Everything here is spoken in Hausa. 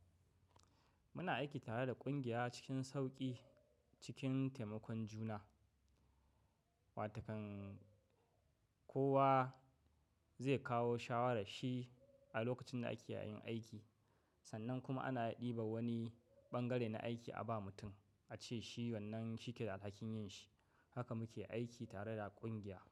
Muna aiki tare da ƙungiya cikin sauƙi cikin taimakon juna, wataƙan kowa zai kawo shawara shi a lokacin da ake yayin aiki sannan kuma ana ɗiba wani ɓangare na aiki a ba mutum a ce shi wannan shi ke da alhakin yin shi. Haka muke aiki tare da ƙungiya.